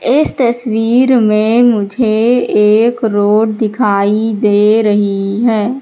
इस तस्वीर में मुझे एक रोड दिखाई दे रही है।